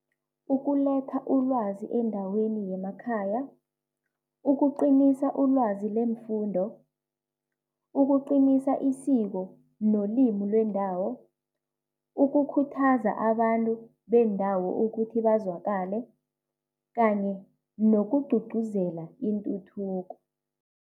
Ukuletha ulwazi endaweni yemakhaya, ukuqinisa ulwazi leemfundo, ukuqinisa isiko nolimi lwendawo, ukukhuthaza abantu beendawo ukuthi bazwakale kanye nokugqugquzela intuthuko.